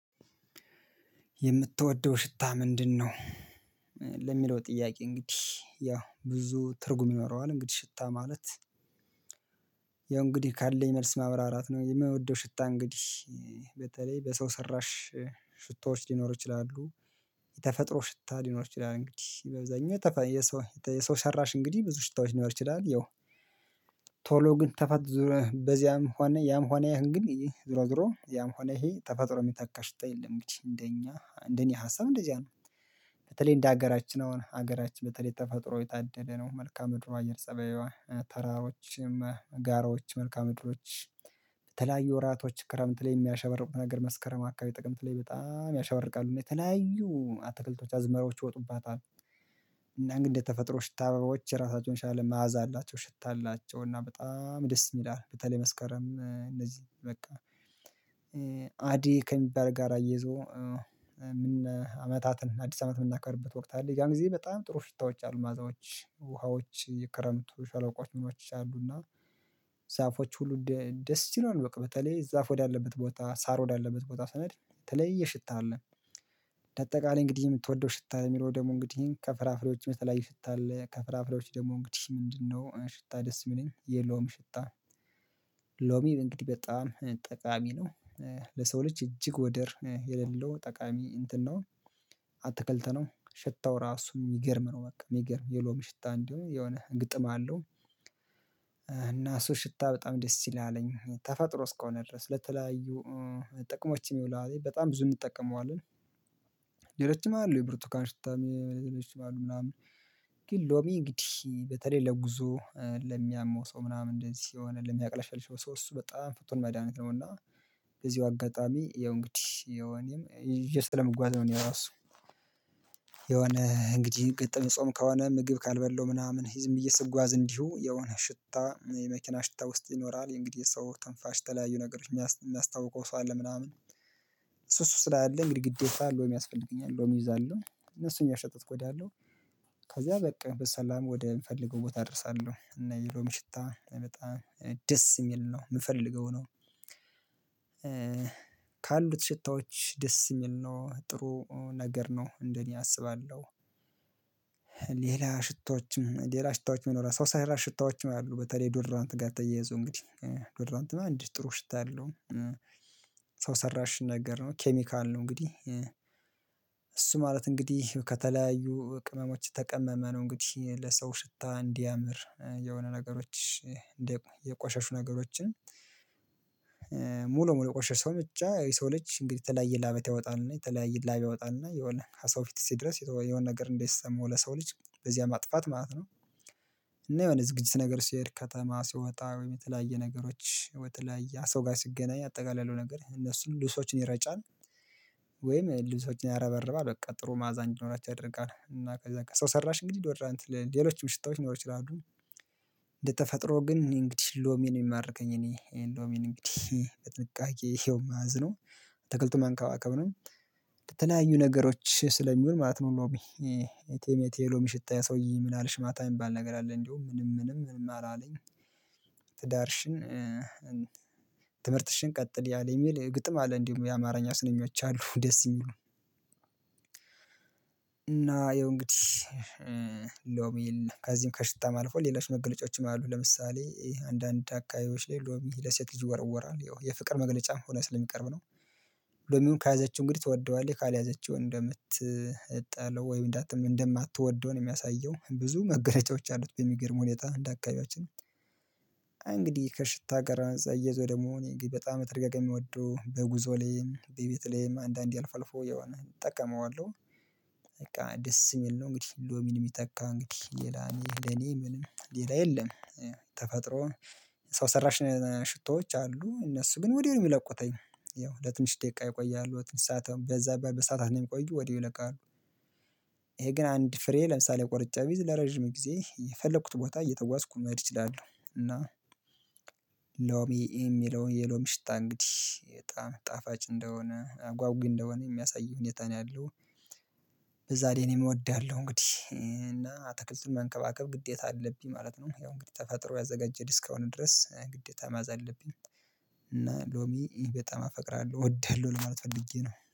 የምትወደው ሽታ ምንድነው? ለሚለው ጥያቄ እንግዲህ ያ ብዙ ትርጉም ይኖረዋል እንግዲህ ሽታ ማለት ያው እንግዲህ ካለኝ መልስ ማብራራት ነው። የምወደው ሽታ እንግዲህ በተለይ በሰው ሰራሽ ሽታዎች ሊኖሩ ይችላሉ። የተፈጥሮ ሽታ ሊኖር ይችላል እንግዲህ በብዛኛው የሰው ሰራሽ እንግዲህ ብዙ ሽታዎች ሊኖር ይችላል። ያው ቶሎ ግን ተፈጥሮ በዚያም ሆነ ያም ሆነ ይሄን ግን ይሄ ዝሮ ዝሮ ያም ይሄ ተፈጥሮ የሚታካ ሽታ የለም እንግዲህ እንደኛ እንደኔ ሀሳብ እንደዚያ ነው። በተለይ እንደ ሀገራችን አሁን ሀገራችን በተለይ ተፈጥሮ የታደደለነው መልካአ ምድሯ አየር ጸበይዋ ተራሮችም ጋራዎች መልካም ምድሮች በተለያዩ ወራቶች ክረምት ላይ የሚያሸብርቁ ነገር መስከረም አካባቢ ጥቅምት ላይ በጣም ያሻወርቃሉ እና የተለያዩ አትክልቶች አዝመራዎች ይወጡባታል። እና ግን ተፈጥሮ ሽታ አበባዎች ራሳቸውን የተሻለ መዓዛ አላቸው ሽታ አላቸው እና በጣም ደስ ይላል። በተለይ መስከረም እነዚህ በቃ አደይ ከሚባል ጋር አየዞ ምን አመታትን አዲስ አመት የምናከብረበት ወቅት አለ ያን ጊዜ በጣም ጥሩ ሽታዎች አሉ ማዕዛዎች ውሃዎች የክረምት ሸለቆዎች ምኖች አሉ። እና ዛፎች ሁሉ ደስ ይለዎል በቃ በተለይ ዛፍ ወዳለበት ቦታ ሳር ወዳለበት ቦታ ሰነድ የተለየ ሽታ አለ። ተጠቃላይ እንግዲህ የምትወደው ሽታ የሚለው ደግሞ እንግዲህ ከፍራፍሌዎችም የተለያሉ ሽታ አለ ከፍራፍሬዎችም ደግሞ እንግዲህ ምንድነው ሽታ ደስ የሚለኝ የለዉም። ሽታ ሎሚ እንግዲህ በጣም ጠቃሚ ነው። ለሰው ልጅ እጅግ ወደር የሌለው ጠቃሚ እንትን ነው። አትክልት ነው ሽታው ራሱን የሚገርም ነው በቃ የሚገርም የሎሚ ሽታ እንዲሆን የሆነ ግጥም አለው። እና እሱ ሽታ በጣም ደስ ይላልኝ ተፈጥሮ እስከሆነ ድረስ ለተለያዩ ጥቅሞችም ይውላል በጣም ብዙ እንጠቀመዋለን። ሌሎችም አሉ የብርቱካን ሽታ የረጅም ምናምን ግን ሎሚ እንግዲህ በተለይ ለጉዞ ለሚያመው ሰው ምናምን እንደዚህ የሆነ ለሚያቅለሽል ሰው እሱ በጣም ፍቱን መድሃኒት ነው። እና በዚው አጋጣሚ ያው እንግዲህ እኔም ይዤው ስለምጓዝ ነውእኔ ራሱ። የሆነ እንግዲህ ግጥም ጾም ከሆነ ምግብ ካልበላው ምናምን ዝም ብዬ ስጓዝ እንዲሁ የሆነ ሽታ የመኪና ሽታ ውስጥ ይኖራል የእንግዲህ ሰው ትንፋሽ ተለያዩ ነገሮች የሚያስታውከው ሰው አለ። ምናምን እሱ እሱ ስላለ እንግዲህ ግዴታ ሎሚ የሚያስፈልገኝ ሎሚ እይዛለሁ እና እሱን እያሸተትኩ እሄዳለሁ። ከዚያ በቃ በሰላም ወደምፈልገው ቦታ እደርሳለሁ እና የሎሚ ሽታ በጣም ደስ የሚል ነው ምፈልገው ነው። ካሉት ሽታዎች ደስ የሚል ነው ጥሩ ነገር ነው እንደኔ አስባለሁ። ሌላ ሽታዎችም ሌላ ሽታዎችም የሚኖራ ሳው ሰራሽ ሽታዎች ያሉ በተለይ ዶር ዶር እንትን ጋር ተያይዞ እንግዲህ ዶር ዶር እንትን አንድ ጥሩ ሽታ ያለው ሰው ሰራሽ ነገር ነው ኬሚካል ነው። እንግዲህ እሱ ማለት እንግዲህ ከተለያዩ ቅመሞች የተቀመመ ነው እንግዲህ ለሰው ሽታ እንዲያምር የሆነ ነገሮች እንደ የቆሸሹ ነገሮችን ሙሉ የቆሸሸውን ብቻ የሰው ልጅ እንግዲህ የተለያየ ላበት ያወጣልና የተለያየ ላብ ያወጣል እና የሆነ ከሰው ፊት ሲደርስ የሆነ ነገር እንዳይሰማው ለሰው ልጅ በዚያ ማጥፋት ማለት ነው። እና የሆነ ዝግጅት ነገር ሲሄድ ከተማ ሲወጣ ወይም የተለያየ ነገሮች በተለይ ሰው ጋር ሲገናኝ አጠቃላይ ያለውን ነገር እነሱን ልብሶችን ይረጫን ወይም ልብሶችን ያረበርባል በቃ ጥሩ ማዕዛ እንዲኖራቸው ያደርጋል። ሰው ሰራሽ እንግዲህ ዶራት ሌሎችም ሽታዎች ሊኖሩ ይችላሉ። እንደተፈጥሮ ግን እኔ እንግዲህ ሎሚ ነው የሚማርከኝ እኔ ሎሚን እንግዲህ በጥንቃቄ ይሄው ማዝ ነው። ትክልት መንከባከብ ነው የተለያዩ ነገሮች ስለሚሆን ማለት ነው። ሎሚ እቴ ሜቴ የሎም ሽታ የሰውዬ ምን አለሽ ማታ የሚባል ነገር አለ እንዲሁ ምንም ምንም ምንም አላለኝ። ትዳርሽን ትምህርትሽን ቀጥሊ አለኝ የሚል ግጥም አለ እንዲሁ የአማርኛ ስነኞች አሉ ደስ የሚሉ አሉ። እና ይሄው እንግዲህ ሎሚል ከዚህም ከሽታም አልፎ ሌሎች መግለጫዎችም አሉ ለምሳሌ አንዳንድ አካሄዎች ሎሚ ለሴት ልጅ ይወረወራል ይኸው የፍቅር መግለጫም ሆነ ስለሚቀርብ ነው። ሎሚዉን ከያዘችው እንግዲህ ትወደዋለይ ካልያዘችው እንደምትጣለሁ ወይም እንዳማትወደው ነው የሚያሳየው ብዙ መገለጫዎች አሉት በሚገርም ሁኔታ እንደ አካባቢያችን። እንግዲህ ከሽታ ጋር እየዞረ ደግሞ በጣም ተደጋጋሚ የሚወደው በጉዞ ላይም በቤተሌም አንዳንዴ አልፈልፎ የሆነ እጠቀመዋለሁ በቃ ደስ የሚል ነው። እንግዲህ ሎሚን የሚተካ እንግዲህ የላኔ ለኔ ምንም ሌላ የለም። ተፈጥሮ ሰው ሰራሽ ሽቶዎች አሉ እነሱ ግን ወዲያው ነው የሚለቁተኝ ያው ለትንሽ ደቂቃ ይቆያሉ በዛ በሰአታት ነው የሚቆዩ ወዲያው ይለቃሉ። ይሄ ግን አንድ ፍሬ ለምሳሌ ቆርጬ ቢይዝ ለረጅም ጊዜ የፈለኩት ቦታ እየተጓዝኩ መሄድ አችላለሁ። እና ሎሚ የሚለውን የሎሚ ሽታ እንግዲህ በጣም ጣፋጭ እንደሆነ ጓጉይ እንደሆነ የሚያሳይህ ሁኔታ ነው ያለው። በዛ ላይ እኔም እወዳለሁ እንግዲህ እና አትክልትን መንከባከብ ግዴታ አለብኝ ማለት ነው። ያው እንግዲህ ተፈጥሮ ያዘጋጀህ እስካሁን ድረስ ግዴታ መያዝ አለብኝ። እና ሎሚ እኔ በጣም አፈቅራለሁ ወደህልው ማለት ፈልጌ ነው